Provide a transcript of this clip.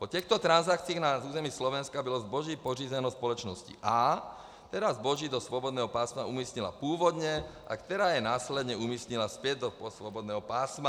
Po těchto transakcích na území Slovenska bylo zboží pořízeno společností A, která zboží do svobodného pásma umístila původně a která je následně umístila zpět do svobodného pásma.